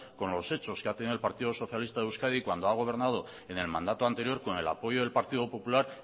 con los hechos que ha tenido el partido socialista de euskadi cuando ha gobernado en el mandato anterior con el apoyo del partido popular